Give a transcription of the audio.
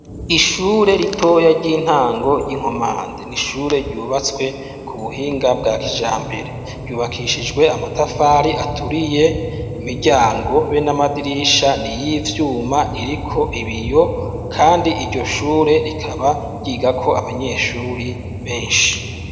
Ishure ritoya ry'intango y'i Nkomande ni ishure ryubatswe ku buhinga bwa kijambere, ryubakishijwe amatafari aturiye imiryango be n'amadirisha ni iy'ivyuma iriko ibiyo kandi iryo shure rikaba ryigako abanyeshure benshi.